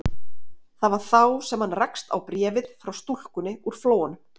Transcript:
Það var þá sem hann rakst á bréfið frá stúlkunni úr Flóanum.